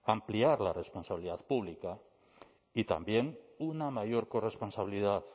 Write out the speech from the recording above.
ampliar la responsabilidad pública y también una mayor corresponsabilidad